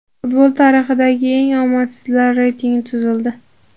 Futbol tarixidagi eng omadsizlar reytingi tuzildi.